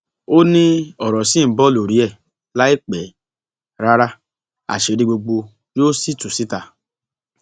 ó ní ọrọ ṣì ń bọ lórí ẹ láì pẹ rárá àṣírí gbogbo yóò sì tú síta